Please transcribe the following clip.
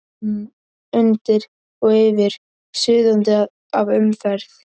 um, undir og yfir, suðandi af umferð.